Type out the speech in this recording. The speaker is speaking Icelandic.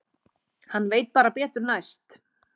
Hann veit bara betur næst.